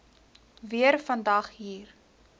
weer vandag hier